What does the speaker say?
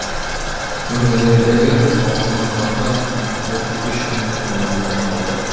өңірлердегі ауруханаларда отыз үш мың орын дайындалды